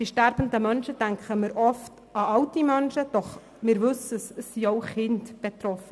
Bei sterbenden Menschen denken wir oft an alte Menschen, doch es sind auch Kinder betroffen;